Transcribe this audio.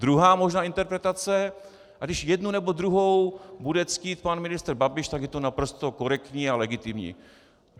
Druhá možná interpretace, a když jednu nebo druhou bude ctít pan ministr Babiš, tak je to naprosto korektní a legitimní.